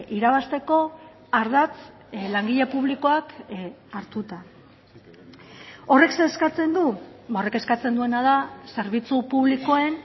irabazteko ardatz langile publikoak hartuta horrek zer eskatzen du horrek eskatzen duena da zerbitzu publikoen